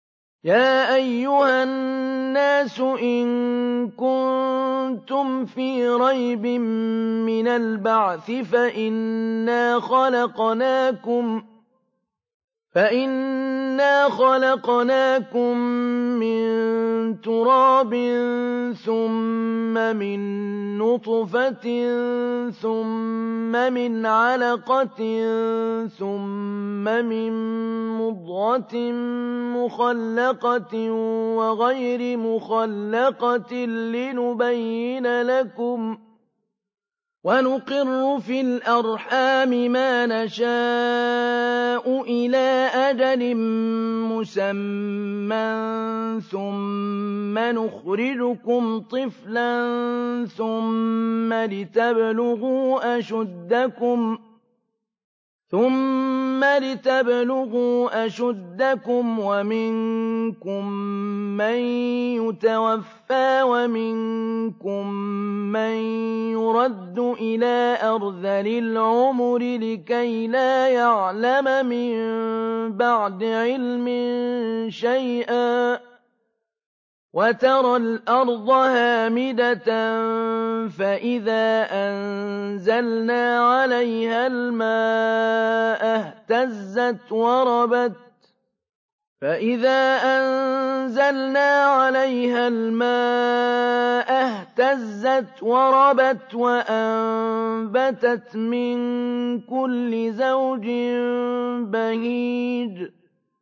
يَا أَيُّهَا النَّاسُ إِن كُنتُمْ فِي رَيْبٍ مِّنَ الْبَعْثِ فَإِنَّا خَلَقْنَاكُم مِّن تُرَابٍ ثُمَّ مِن نُّطْفَةٍ ثُمَّ مِنْ عَلَقَةٍ ثُمَّ مِن مُّضْغَةٍ مُّخَلَّقَةٍ وَغَيْرِ مُخَلَّقَةٍ لِّنُبَيِّنَ لَكُمْ ۚ وَنُقِرُّ فِي الْأَرْحَامِ مَا نَشَاءُ إِلَىٰ أَجَلٍ مُّسَمًّى ثُمَّ نُخْرِجُكُمْ طِفْلًا ثُمَّ لِتَبْلُغُوا أَشُدَّكُمْ ۖ وَمِنكُم مَّن يُتَوَفَّىٰ وَمِنكُم مَّن يُرَدُّ إِلَىٰ أَرْذَلِ الْعُمُرِ لِكَيْلَا يَعْلَمَ مِن بَعْدِ عِلْمٍ شَيْئًا ۚ وَتَرَى الْأَرْضَ هَامِدَةً فَإِذَا أَنزَلْنَا عَلَيْهَا الْمَاءَ اهْتَزَّتْ وَرَبَتْ وَأَنبَتَتْ مِن كُلِّ زَوْجٍ بَهِيجٍ